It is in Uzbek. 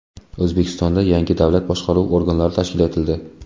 O‘zbekistonda yangi davlat boshqaruvi organlari tashkil etildi.